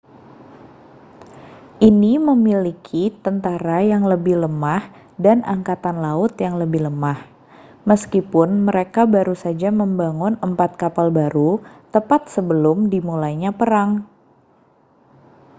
ini memiliki tentara yang lebih lemah dan angkatan laut yang lebih lemah meskipun mereka baru saja membangun empat kapal baru tepat sebelum dimulainya perang